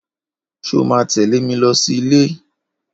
Ṣó mà tẹ̀lé mi lọ sí ìlé ì?